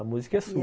A música é sua. E é